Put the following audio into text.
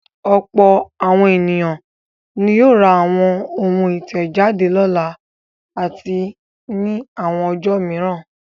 Ọ̀pọ̀ àwọn ènìyàn ni yóò ra àwọn ohun ìtẹ̀jáde lọ́la àti ní àwọn ọjọ́ mìíràn.